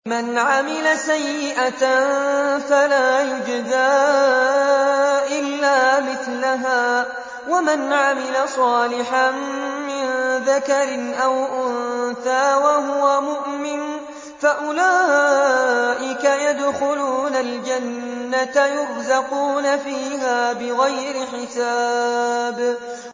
مَنْ عَمِلَ سَيِّئَةً فَلَا يُجْزَىٰ إِلَّا مِثْلَهَا ۖ وَمَنْ عَمِلَ صَالِحًا مِّن ذَكَرٍ أَوْ أُنثَىٰ وَهُوَ مُؤْمِنٌ فَأُولَٰئِكَ يَدْخُلُونَ الْجَنَّةَ يُرْزَقُونَ فِيهَا بِغَيْرِ حِسَابٍ